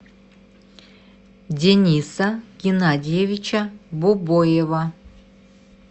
дениса геннадьевича бобоева